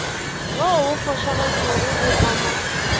wo o fošagetšego o ama